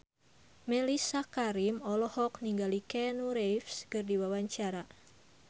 Mellisa Karim olohok ningali Keanu Reeves keur diwawancara